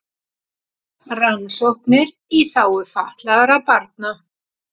Rannsóknir í þágu fatlaðra barna